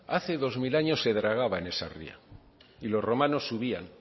hace dos mil años se dragaba en esa ría y los romanos subían